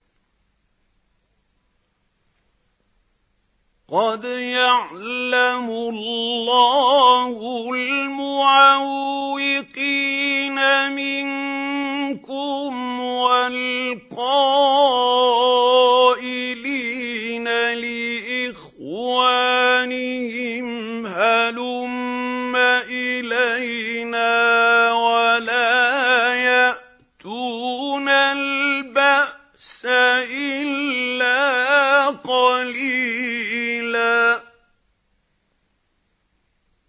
۞ قَدْ يَعْلَمُ اللَّهُ الْمُعَوِّقِينَ مِنكُمْ وَالْقَائِلِينَ لِإِخْوَانِهِمْ هَلُمَّ إِلَيْنَا ۖ وَلَا يَأْتُونَ الْبَأْسَ إِلَّا قَلِيلًا